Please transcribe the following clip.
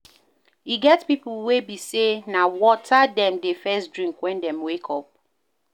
E get pipo wey be sey na water dem dey first drink when dem wake